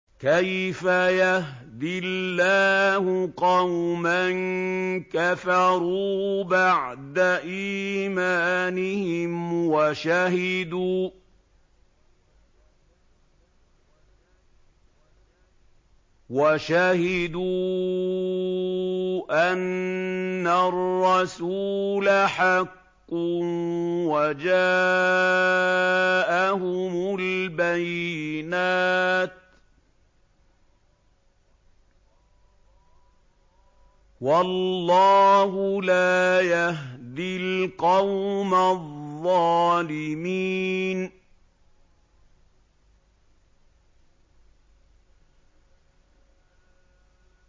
كَيْفَ يَهْدِي اللَّهُ قَوْمًا كَفَرُوا بَعْدَ إِيمَانِهِمْ وَشَهِدُوا أَنَّ الرَّسُولَ حَقٌّ وَجَاءَهُمُ الْبَيِّنَاتُ ۚ وَاللَّهُ لَا يَهْدِي الْقَوْمَ الظَّالِمِينَ